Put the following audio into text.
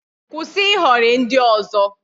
Kwụsị ịhọrị ndị ọzọ